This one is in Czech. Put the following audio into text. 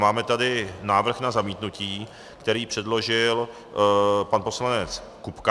Máme tady návrh na zamítnutí, který předložil pan poslanec Kupka.